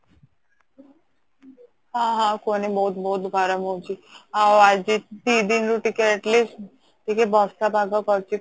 ହଁ ହଁ ଆଉ କୁହନି ବହୁତ ବହୁତ ଗରମ ହଉଚି ଆଉ ଆଜି ଦି ଦିନ ରୁ ଟିକେ Atleast ଟିକେ ବର୍ଷା ପାଗ କରିଚି